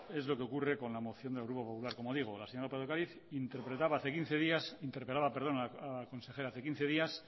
es lo que ocurre con la moción del grupo popular como digo la señora lópez de ocariz interpelaba al consejero hace quince días